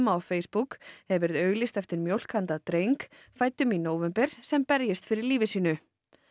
á Facebook hefur verið auglýst eftir mjólk handa dreng fæddum í nóvember sem berjist fyrir lífi sínu